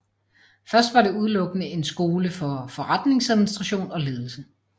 Først var det udelukkende en skole for forretningsadministration og ledelse